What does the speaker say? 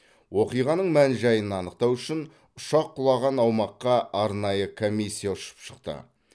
оқиғаның мән жайын анықтау үшін ұшақ құлаған аумаққа арнайы комиссия ұшып шықты